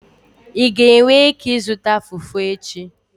Ị ga-enwe ike ịzụta Fufu echi?